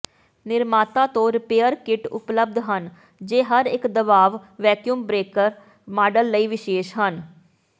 ਨਿਰਮਾਤਾ ਤੋਂ repair kit ਉਪਲਬਧ ਹਨ ਜੋ ਹਰੇਕ ਦਬਾਅ ਵੈਕਯੂਮ ਬ੍ਰੇਕਰ ਮਾੱਡਲ ਲਈ ਵਿਸ਼ੇਸ਼ ਹਨ